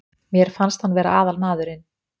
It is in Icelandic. Mér fannst hann vera aðalmaðurinn.